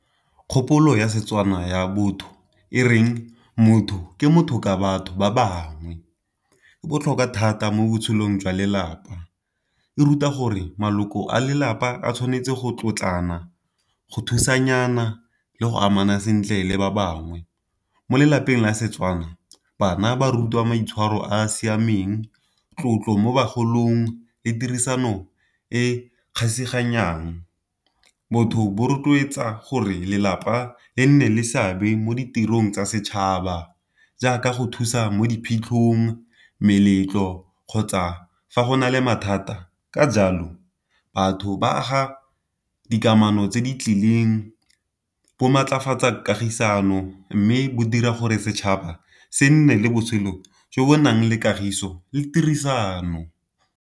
Kgopolo ya Setswana ya botho e reng motho ke motho ka batho ba bangwe. E botlhokwa thata mo botshelong jwa lelapa e ruta gore maloko a lelapa a tshwanetse go tlotlana, go thusanyana, le go amana sentle le ba bangwe. Mo lelapeng la Setswana bana ba rutiwa maitshwaro a a siameng, tlotlo mo bagolong, le tirisano e . Botho bo rotloetsa gore lelapa le nne le seabe mo ditirong tsa setšhaba jaaka go thusa mo diphitlhong meletlo kgotsa fa go na le mathata. Ka jalo batho ba aga dikamano tse di tlileng bo maatlafatsa kagisano, mme bo dira gore setšhaba se nne le botshelo jo bo nang le kagiso le tirisano.